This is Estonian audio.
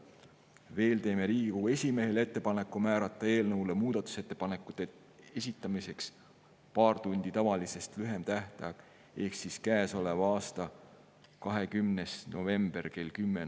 Veel teeme Riigikogu esimehele ettepaneku määrata eelnõu kohta muudatusettepanekute esitamiseks paar tundi tavalisest lühem tähtaeg ehk siis käesoleva aasta 20. november kell 10.